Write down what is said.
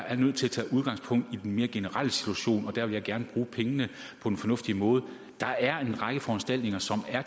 er nødt til at tage udgangspunkt i den mere generelle situation og jeg vil gerne bruge pengene på en fornuftig måde der er en række foranstaltninger som er